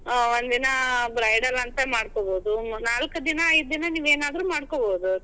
ಹಾ ಒಂದ್ ದಿನಾ bridal ಅಂತ ಮಾಡ್ಕೋಬೋದು, ನಾಲ್ಕ್ ದಿನಾ, ಐದ್ ದಿನಾ ನೀವೇನಾದ್ರೂ ಮಾಡ್ಕೋಬೋದು.